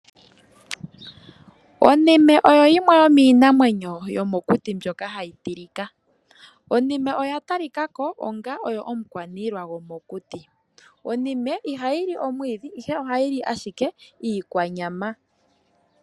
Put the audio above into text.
Onime oyo yimwe yomiinamwenyo yomokuti mbyoka hayi tilika. Onime oya talika ko onga omukwaniilwa gomokuti. Onime ihayi li omwiidhi ihe ohayi li ashike iikwanyama.